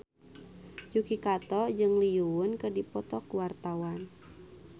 Yuki Kato jeung Lee Yo Won keur dipoto ku wartawan